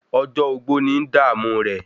Ọjọ́ ogbó ń dààmú rẹ̀